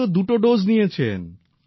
তিনিও দুটো ডোজ নিয়েছেন